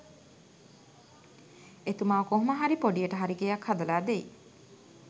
එතුමා කොහොම හරි ‍පොඩියට හරි ගෙයක් හදලා දෙයි